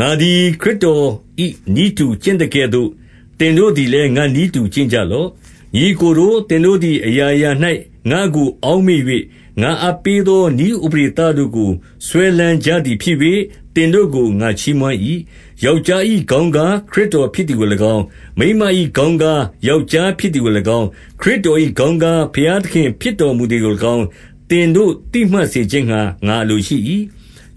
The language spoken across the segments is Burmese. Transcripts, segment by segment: ငါသည်ခရစ်တော်၏ နည်းတူကျင့်သကဲ့သို့ သင်တို့လည်း ငါ့နည်းတူ ကျင့်ကြလော့။ 2 ညီအစ်ကိုတို့၊ သင်တို့သည် အရာရာ၌ ငါ့ကို အောက်မေ့၍၊ ငါအပ်ပေးသောနည်းဥပဒေတို့ကို စွဲလမ်း ကြသည်ဖြစ်၍ သင်တို့ကို ငါချီးမွမ်း၏။ 3 ယောက်ျား၏ခေါင်းကား ခရစ်တော်ဖြစ်သည် ကို၎င်း၊ မိန်းမ၏ခေါင်းကား ယောက်ျားဖြစ်သည်ကို၎င်း၊ ခရစ်တော်၏ခေါင်းကား ဘုရားသခင် ဖြစ်တော်မူသည်ကို၎င်း၊ သင်တို့ သိမှတ်စေခြင်းငှါ ငါအလိုရှိ၏။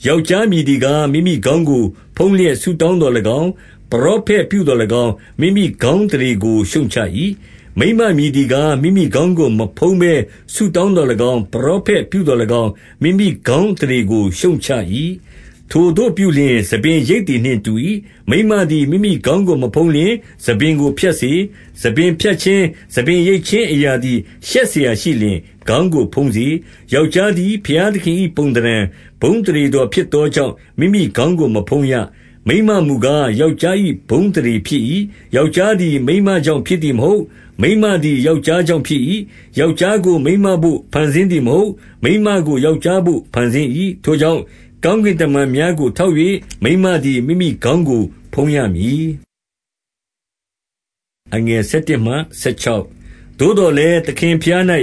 4 ယောက်ျားမည်သည်ကား၊ မိမိခေါင်းကို ဖုံးလျက် ဆုတောင်းသော်၎င်း၊ ပရောဖက်ပြုသော်၎င်း၊ မိမိခေါင်း အသရေကို ရှုတ်ချ၏။ 5 မိန်းမမည်သည်ကား၊ မိမိခေါင်းကို မဖုံးဘဲ ဆုတောင်းသော်၎င်း၊ ပရောဖက်ပြုသော်၎င်း၊ မိမိခေါင်း အသရေကိုရှုတ်ချ၏။ 6 ထိုသို့ပြုလျှင် ဆံပင်ရိတ်သည်နှင့်တူ၏။ မိန်းမသည် မိမိခေါင်းကို မဖုံးလျှင် ဆံပင်ကိုဖြတ်စေ။ ဆံပင် ဖြတ်ခြင်း၊ ဆံပင်ရိတ်ခြင်းအရာသည် ရှက်စရာရှိလျှင် ခေါင်းကိုဖုံးစေ။ 7 ယောက်ျားသည် ဘုရားသခင်၏ ပုံသဏ္ဌာန်၊ ဘုန်းအသရေတော်ဖြစ်သောကြောင့် မိမိခေါင်းကို မဖုံးရ။ မိန်းမမူကား ယောက်ျား၏ဘုန်းအသရေဖြစ်၏။ 8 ယောက်ျားသည် မိန်းမကြောင့်ဖြစ်သည် မဟုတ်။ မိန်းမသည် ယောက်ျားကြောင့်ဖြစ်၏။ 9 ယောက်ျားကို မိန်းမတို့ဖန်ဆင်းသည်မဟုတ်။ မိန်းမကို ယောက်ျားဘို့ ဖန်ဆင်း၏။ 10 ထိုကြောင့်၊ ကောင်းကင်တမန်များကို ထောက်၍၊ မိန်းမသည် မိမိခေါင်းကို ဖုံးရမည်။ 11 သို့သော်လည်း သခင်ဘုရား၌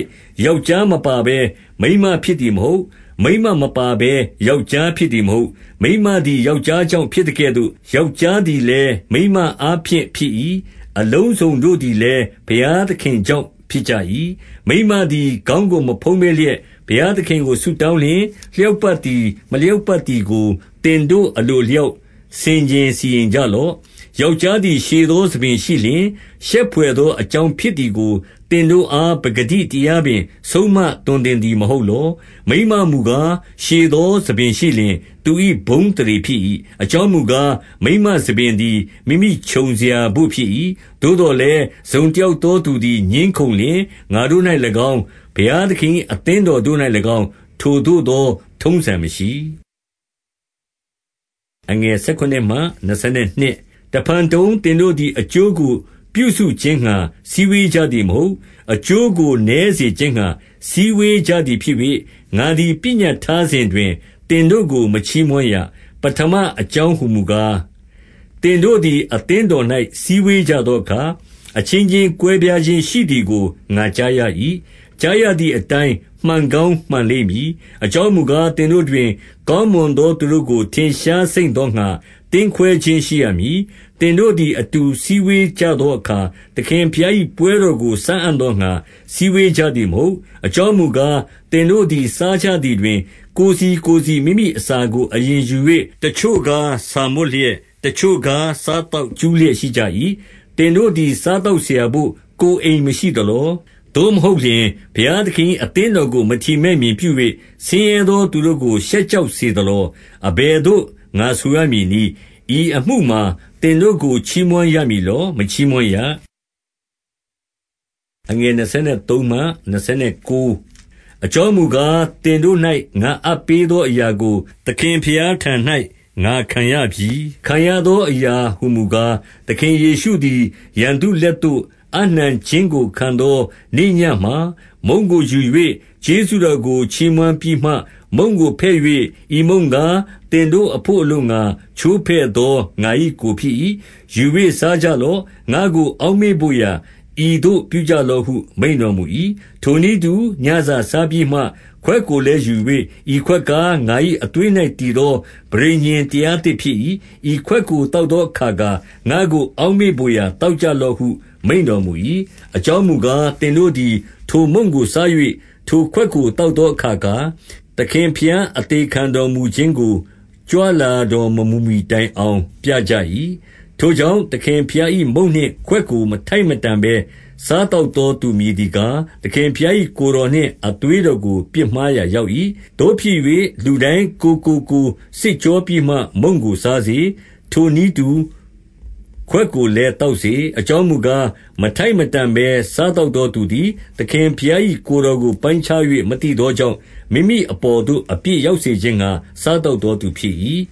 ယောက်ျားမပါဘဲ မိန်းမ ဖြစ်သည်မဟုတ်။ မိန်းမပါဘဲ ယောက်ျားဖြစ်သည် မဟုတ်။ 12 မိန်းမသည် ယောက်ျားကြောင့်ဖြစ်သကဲ့သို့ ယောက်ျားသည်လည်း မိန်းမအားဖြင့်ဖြစ်၏။ အလုံးစုံ တို့သည်လည်း ဘုရားသခင်ကြောင့် ဖြစ်ကြ၏။ 13 မိန်းမသည် ခေါင်းကိုမဖုံးဘဲလျက် ဘုရားသခင်ကို ဆုတောင်းလျှင်၊ လျောက်ပတ်သည် မလျောက်ပတ် သည်ကို သင်တို့ အလိုအလျောက် ဆင်ခြင်စီရင်ကြလော့။ 14 ယောက်ျားသည် ရှည်သောဆံပင်ရှိလျှင်၊ ရှက်ဘွယ်သော အကြောင်းဖြစ်သည်ကို သင်တို့အား ပကတိတရားပင် ဆုံးမသွန်သင်သည် မဟုတ်လော။ 15 မိန်းမမူကား၊ ရှည်သောဆံပင်ရှိလျှင်၊ သူ၏ ဘုန်းအသရေ ဖြစ်၏။ အကြောင်းမူကား၊ မိန်းမဆံပင် သည် မိမိခြုံစရာတို့ ဖြစ်၏။ 16 သို့သော်လည်း တစုံတယောက်သောသူသည် ငြင်းခုံလျှင်၊ ငါတို့၌၎င်း၊ ဘုရားသခင်၏ အသင်းတော်၌ ၎င်း၊ ထိုသို့သော ထုံးစံမရှိ၏။ 17 တဖန်တုံ၊ သင်တို့သည် အကျိုးကို ပြုစုခြင်းငှါ စည်းဝေးကြသည်မဟုတ်။ အကျိုးကို နည်းစေခြင်းငှါ စည်းဝေးကြသည်ဖြစ်၍၊ ငါသည် ပညတ်ထားစဉ်တွင် သင်တို့ကို မချီးမွမ်းရ။ 18 ပဌမ အကြောင်းဟူမူကား၊ သင်တို့သည် အသင်းတော်၌ စည်းဝေးကြသောအခါ၊ အချင်းချင်း ကွဲပြားခြင်းရှိသည်ကို ငါကြားရ၏။ 19 ကြားရသည်အတိုင်း မှန်ကောင်းမှန်လိမ့်မည်။ အကြောင်းမူကား၊ သင်တို့တွင် ကောင်းမွန်သော သူတို့ကို ထင်ရှားစိမ့်သောငှါ သင်းခွဲခြင်းရှိရမည်။ 20 သင်တို့သည် အတူစည်းဝေးကြသောအခါ၊ သခင်ဘုရား၏ ပွဲတော်ကို စားအံ့သောငှါ စည်းဝေးကြ သည်မဟုတ်။ 21 အကြောင်းမူကား၊ သင်တို့သည် စားကြသည် တွင် ကိုယ်စီ ကိုယ်စီမိမိအစာကို အရင်ယူ၍၊ တချို့ကား ဆာမွတ်လျက်၊ တချို့ကား စားသောက်ကြူးလျက်ရှိကြ၏။ 22 သင်တို့သည် စားသောက်ရာဘို့ ကိုယ်အိမ်မရှိ သလော။ သို့မဟုတ်လျှင်၊ ဘုရားသခင်၏ အသင်းတော် ကို မထီမဲ့မြင်ပြု၍၊ ဆင်းရဲသောသူတို့ကို ရှက်ကြောက် စေသလော။ အဘယ်သို့ ငါဆိုရမည်နည်း။ ဤအမှုမှာ သင်တို့ကို ချီးမွမ်းရမည်လော။ မချီးမွမ်းရ။ 23 အကြောင်းမူကား၊ သင်တို့၌ ငါအပ်ပေးသော အရာကို သခင်ဘုရားထံ၌ ငါခံရပြီ။ ခံရသောအရာဟူ မူကား၊ သခင်ယေရှုသည် ရန်သူလက်သို့ အပ်နှံခြင်းကို ခံသော နေ့ညမှာ မုန့်ကို ယူ၍၊ 24 ကျေးဇူးတော်ကို ချီးမွမ်းပြီးမှ မုန့်ကိုဖဲ့၍၊ ဤမုန့်ကား၊ သင်တို့အဘို့အလိုငှါ ချိုးဖဲ့သော ငါ၏ကိုယ်ဖြစ်၏။ ယူ၍စားကြလော့။ ငါ့ကို အောက်မေ့ဘို့ရာ ဤသို့ ပြုကြ လော့ဟု မိန့်တော်မူ၏။ 25 ထိုနည်းတူ၊ ညစာစာပြီးမှ ခွက်ကိုလည်း ယူ၍၊ ဤခွက်ကား ငါ၏အသွေး၌ တည်သောပဋိညာဉ်တရား သစ်ဖြစ်၏။ ဤခွက်ကို သောက်သောအခါခါ၊ ငါ့ကို အောက်မေ့ဘို့ရာ သောက်ကြလော့ဟု မိန့်တော်မူ၏။ 26 အကြောင်းမူကား၊ သင်တို့သည် ထိုမုန့်ကိုစား၍ ထိုခွက်ကို သောက်သောအခါခါ၊ သခင်ဘုရားအသေခံ တော်မူခြင်းကို ကြွလာတော် မမူမှီတိုင်အောင် ပြကြ၏။ 27 ထိုကြောင့် သခင်ဘုရား၏ မုန့်နှင့်ခွက်ကို မထိုက်မတန်ဘဲ စားသောက်သောသူမည်သည်ကား၊ သခင်ဘုရား၏ ကိုယ်တော်နှင့် အသွေးတော်ကို ပြစ်မှားရာရောက်၏။ 28 သို့ဖြစ်၍ လူတိုင်းကိုယ်ကိုကိုယ်စစ်ကြောပြီးမှ မုန့်ကိုစားစေ။ ထိုနည်းတူ ခွက်ကိုလည်း သောက်စေ။ 29 အကြောင်းမူကား၊ မထိုက်မတန်ဘဲ စားသောက် သောသူသည် သခင်ဘုရား၏ ကိုယ်တော်ကို ပိုင်းခြား၍ မသိသောကြောင့်၊ မိမိအပေါ်သို့ အပြစ်ရောက်စေခြင်းငှါ စားသောက်သောသူဖြစ်၏။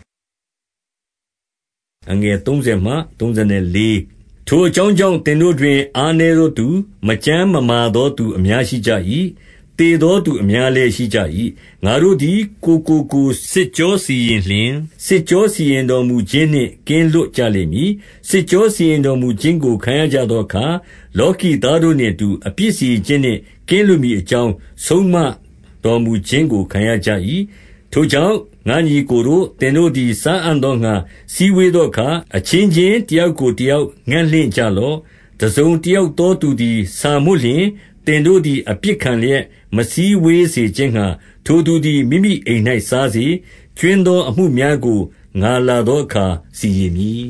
30 ထိုအကြောင်းကြောင့်၊ သင်တို့တွင် အားနည်းသောသူ၊ မကျန်းမမာသော သူအများရှိကြ၏။ သေသော သူအများလည်း ရှိကြ၏။ 31 ငါတို့သည် ကိုယ်ကိုကိုယ် စစ်ကြောစီရင်လျှင်၊ စစ်ကြော စီရင်တော်မူခြင်းနှင့် ကင်းလွတ်ကြလိမ့်မည်။ 32 စစ်ကြောစီရင်တော်မူခြင်းကို ခံရကြသောအခါ၊ လောကီသားတို့နှင့်အတူ အပြစ်စီရင်ခြင်းနှင့် ကင်းလွတ် မည်အကြောင်း ဆုံးမတော်မူခြင်းကို ခံရကြ၏။ 33 ထိုကြောင့် ငါ့ညီအစ်ကိုတို့၊ သင်တို့သည် စားအံ့သောငှါ စည်းဝေးသောအခါ၊ အချင်းချင်း တယောက်ကို တယောက်ငံ့လင့်ကြလော့။ 34 တစုံတယောက်သောသူသည် ဆာမွတ်လျှင်၊ သင်တို့သည် အပြစ်ခံလျက် မစည်းဝေးစေခြင်းငှါ ထိုသူ သည် မိမိအိမ်၌ စားစေ။ ကြွင်းသော အမှုများကို ငါလာသောအခါ စီရင်မည်